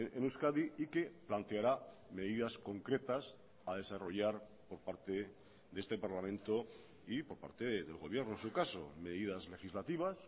en euskadi y que planteará medidas concretas a desarrollar por parte de este parlamento y por parte del gobierno en su caso medidas legislativas